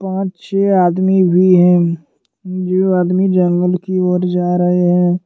यहाँ छे आदमी भी है जो आदमी जंगल की ओर जा रहे हैं।